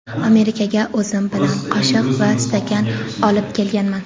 Amerikaga o‘zim bilan qoshiq va stakan olib kelganman.